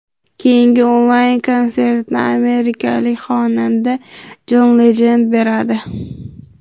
Keyingi onlayn konsertni amerikalik xonanda Jon Lejend beradi.